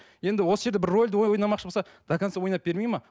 енді осы жерде бір рольді ойнамақшы болса до конца ойнап бермейді ме